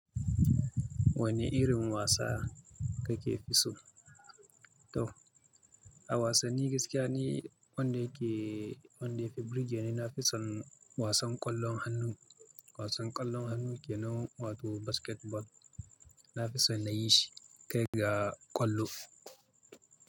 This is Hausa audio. Wanne irin wasa kake fi so? To, a wasanni gaskiya ni wanda yake, wanda ya fi burge ni. Na fi son wasan ƙwallon hannu. Wasan ƙwallon hannu kenan, wato basketball. Na fi son na yi shi kai ga ƙwallo.